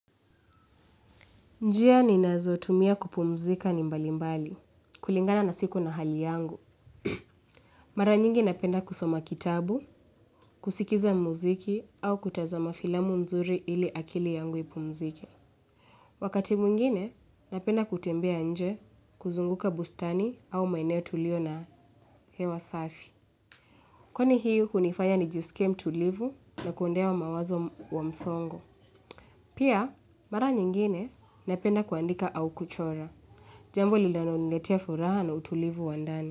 Njia ni nazo tumia kupumzika ni mbali mbali, kulingana na siku na hali yangu. Mara nyingi napenda kusoma kitabu, kusikiza muziki au kutazama filamu nzuri ili akili yangu ipumzike. Wakati mwingine, napenda kutembea nje kuzunguka bustani au maeneo tulio na hewa safi. Kwa ni hiyo kunifaya ni jisike mtulivu na kuondea wa mawazo wa msongo. Pia, mara nyingine napenda kuandika au kuchora. Jambu linalo niletia furaha na utulivu wandani.